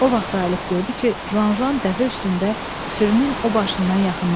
O vaxt ayıb gördü ki, Juan Juan dəvə üstündə sürünün o başından yaxınlaşır.